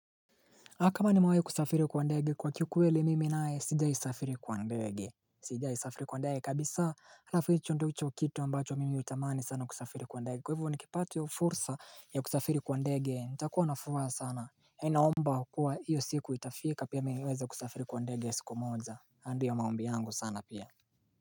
Na kama nimewahi kusafiri kwa ndege kwa kikweli mimi naye sijai safiri kwa ndege Sijai safiri kwa ndege kabisa alafu hicho ndicho kitu ambacho mimi hutamani sana kusafiri kwa ndege kwa hivyo nikipata hio fursa ya kusafiri kwa ndege nitakuwa nafuraha sana naomba kuwa hiyo siku itafika pia mimi niweze kusafiri kwa ndege siku moja na ndio maombi yangu sana pia.